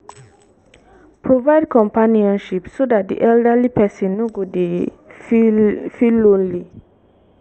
provide companionship so dat di elderly person no go dy feel feel lonely